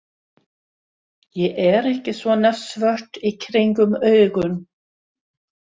Ég er ekki svona svört í kringum augun.